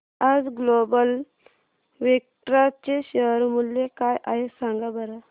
आज Global Vectra चे share मूल्य काय आहे सांगा बरं